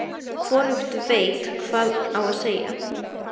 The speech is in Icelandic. Hvorugt veit hvað á að segja.